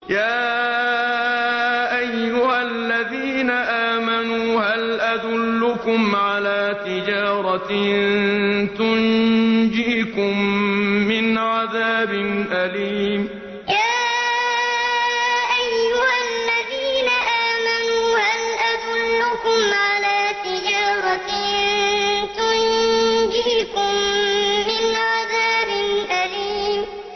يَا أَيُّهَا الَّذِينَ آمَنُوا هَلْ أَدُلُّكُمْ عَلَىٰ تِجَارَةٍ تُنجِيكُم مِّنْ عَذَابٍ أَلِيمٍ يَا أَيُّهَا الَّذِينَ آمَنُوا هَلْ أَدُلُّكُمْ عَلَىٰ تِجَارَةٍ تُنجِيكُم مِّنْ عَذَابٍ أَلِيمٍ